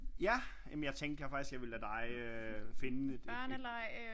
Ja men jeg tænkte faktisk at jeg ville lade dig øh finde et